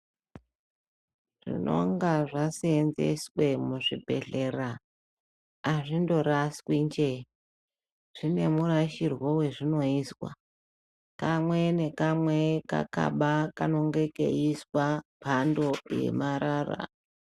Zvinonga zvasenzeswa muzvibhedhlera azvingoraswi nje zvine murashirwo azvinoizwa kamwe nekamwe Kakabatwa makarongeka eizwa mhando yemarara.